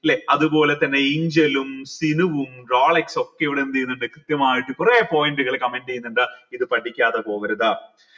ല്ലെ അതുപോലെതന്നെ ഏഞ്ചലും സിനുവും റോളക്സ് ഒക്കെ ഇവിടെ എന്തെയ്നിണ്ട് കൃത്യമായിട്ട് കൊറേ point കൾ comment എയ്‌നിണ്ട് ഇത് പഠിക്കാതെ പോകരുത്